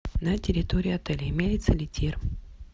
на территории отеля имеется ли тир